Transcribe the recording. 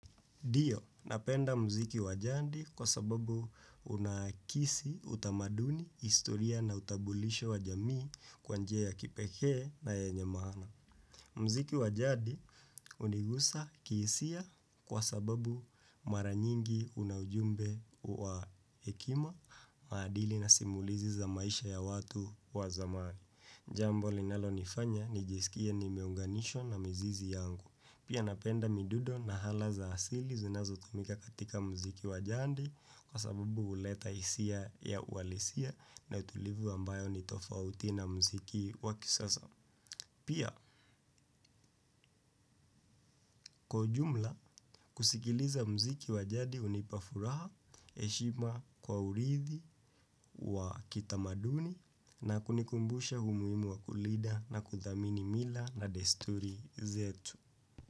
Ndio, napenda muziki wa jadi kwa sababu unakisi utamaduni, historia na utambulisho wa jamii kwa njia ya kipekee na yenye maana. Muziki wa jadi hunigusa kihisia kwa sababu mara nyingi una jumbe wa hekima, maadili na simulizi za maisha ya watu wa zamani. Jambo linalo nifanya nijisikie nimeunganishwa na mizizi yangu. Pia napenda midundo na ala za asili zinazo tumika katika muziki wa jadi kwa sabubu huleta hisia ya uhalisia na utulivu ambao ni tofauti na muziki wa kisasa. Pia kwa ujumla kusikiliza muziki wa jadi hunipa furaha, heshima kwa urithi, wa kitamaduni na kunikumbusha umuhimu wa kulinda na kuthamini mila na desturi zetu.